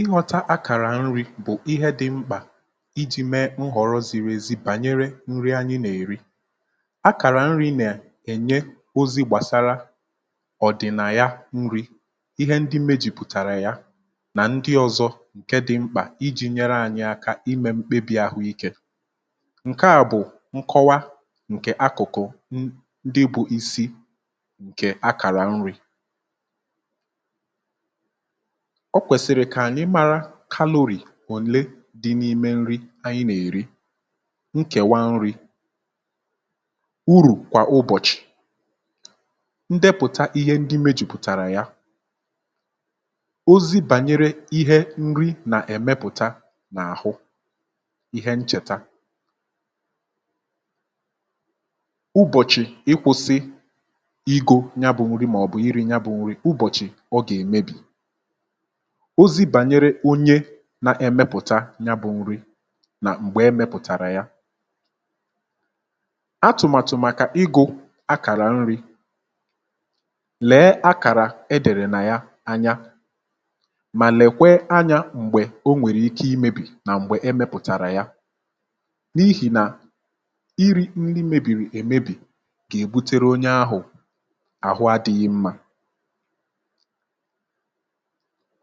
ịghọta akàrà nri̇ bụ̀ ihe dị̇ mkpà iji̇ mee nhọrọ ziri ezi bànyere nri anyị nà-èri akàrà nri̇ nà-ènye ozi gbàsara ọ̀ dị̀ nà ya nri̇ ihe ndị mejìpụ̀tàrà ya nà ndị ọ̇zọ̇ ǹke dị̇ mkpà iji̇ nyere ànyị aka imė mkpebì àhụ ikė ǹke à bụ̀ nkọwa ǹkè akụ̀kụ̀ ndị bụ̇ isi̇ ǹkè akàrà nri̇ ọ kwèsị̀rị̀ kà ànyị mara kalorì òle dị n’ime nri anyị nà-èri, nkèwa nri, urù kwà ụbọ̀chị̀, ndepụ̀ta ihe ndị imė jùpùtàrà ya, ozi bànyere ihe nri nà-èmepụ̀ta n’àhụ, ihe nchèta ụbọ̀chị̀ ịkwụ̇sị ịgo ya bụ̇ nri màọbụ̀ iri ya bụ̇ nri ụbọ̀chị̀ ọ gà-èmebì ozi bànyere onye na-emepụ̀ta ya bụ̇ nri nà m̀gbè emepụ̀tàrà ya atụ̀màtụ̀ màkà igù akàrà nri, lee akàrà edèrè nà ya anya mà lèkwe anyȧ m̀gbè o nwèrè ike imėbì nà m̀gbè emepụ̀tàrà ya n’ihì nà iri nri mebìrì èmebì gà-èbutere onye ahụ̀ àhụ adị̇ghị mmȧ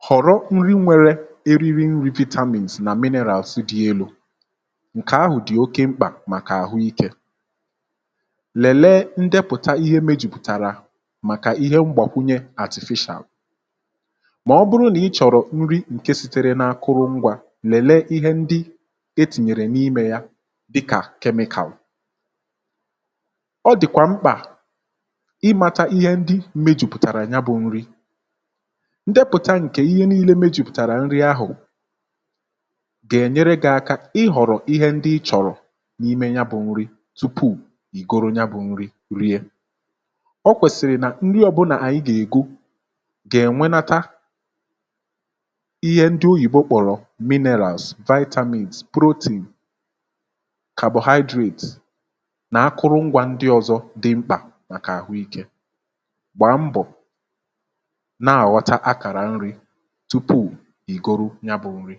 họ̀rọ nri nwėrė eriri nri vitamins nà minerals dị elu̇ ǹkè ahụ̀ dị̀ oke mkpà màkà àhụ ikė lèlee ndepụ̀ta ihe mėjùpùtàra màkà ihe mgbàkwunye artificial mà ọ bụrụ nà ịchọ̀rọ̀ nri ǹke sitere n’akụrụ ngwȧ lèlee ihe ndị etìnyèrè n’imė ya dịkà chemical ọ dị̀kwà mkpà ịmȧta ihe ndị mėjùpụ̀tàrà ya bụ̇ nri ndepụta nke ihe nii̇lė mejìpụ̀tàrà nri ahụ̀ gà-ènyere gị aka ihọ̀rọ̀ ihe ndị ị chọ̀rọ̀ n’ime ya bụ̇ nri tupu ì goro ya bụ̇ nri rie ọ kwèsìrì nà nri ọbụna ànyị gà-ègo gà-ènwenata ihe ndị oyìbo kpọ̀rọ̀ minerals, vitamins, protein, carbohydrates nà akụrụngwȧ ndị ọ̇zọ̇ dị mkpà màkà àhụ ikė gbaa mbọ̀ na aghota akara nri tupu ìgoro ya bụ̇ nri